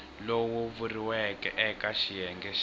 lowu vuriweke eke xiyenge xa